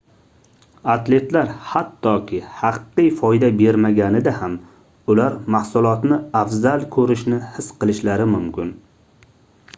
atletlar hattoki haqiqiy foyda bermaganida ham ular mahsulotni afzal koʻrishni his qilishlari mumkin